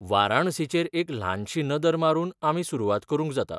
वाराणसीचेर एक ल्हानशी नदर मारून आमी सुरवात करूंक जाता.